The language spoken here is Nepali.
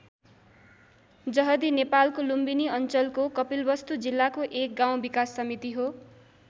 जहदी नेपालको लुम्बिनी अञ्चलको कपिलवस्तु जिल्लाको एक गाउँ विकास समिति हो।